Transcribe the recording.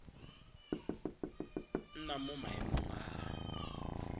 nna mo maemong a a